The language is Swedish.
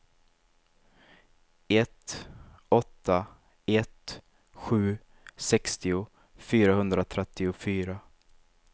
ett åtta ett sju sextio fyrahundratrettiofyra